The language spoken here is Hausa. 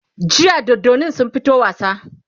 jiya dodannin sun fito wasa